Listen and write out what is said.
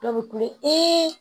Dɔw bɛ kule